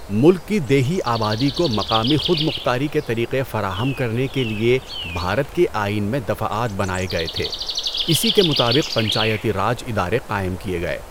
ملک کی دیہی آبادی کو مقامی خود مختاری کے طریقے فراہم کرنے کے لیے بھارت کے آئین میں دفعات بنائے گئے تھے، اسی کے مطابق پنچایتی راج ادارے قائم کیے گئے۔